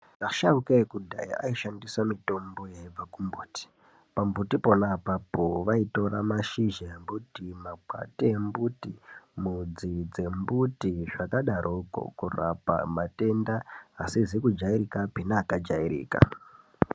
Asharuka ekudhaya aishandisa mitombo yaibva kumbuti pambuti pona apapo vaitora pashizha embuti, makwati embuti, mudzi dzembuti zvakadaroko. Kurapa matenda asizi kujairikapi neakajairika.